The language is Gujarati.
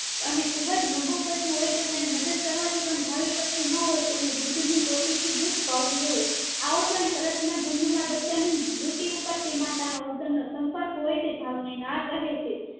અને ખુબ જ નબળું બચ્ચું હોય તો તેને મદદ કરવા થી પણ ધાવીશકતું ન હોય તેને દૂધ ની ટોટી થી દુધ પાવું જોઈએ આ ઉપરાંત તરત ના જન્મેલા બચ્ચા ને ડુંટી તે માતા નો ઉદમ નો સંપર્ક હોય છે ધવ ને નાળ કહે છે